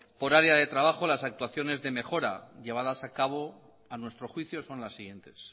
por área de trabajo las actuaciones de mejora llevadas a cabo a nuestro juicio son las siguientes